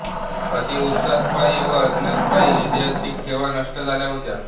अतिउत्साहापायी व अज्ञानापायी ऐतिहासिक ठेवा नष्ट झाला होता